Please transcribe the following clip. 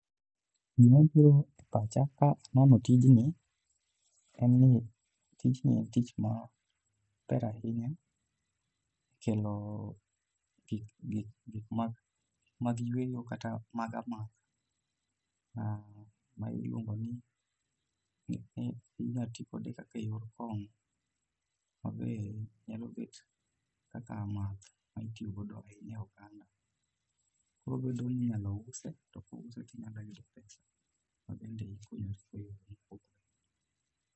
Gima biro e pacha ka aneno tijni en ni tijni en tich ma ber ahinya kelo gik mag yweyo kata mag amadha ma iluongo ni , inya tikode kaka eyor kong'o mabe nyalo bet kaka math ma itiyo go ahinya e oganda. Koro en bend einyalo use to kosuse to inya yudo